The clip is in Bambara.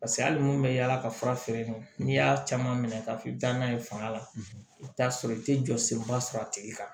Paseke hali mun bɛ yaala ka fura feere n'i y'a caman minɛ k'a fɔ i bɛ taa n'a ye fanga la i bɛ t'a sɔrɔ i tɛ jɔ senba sɔrɔ a tigi kan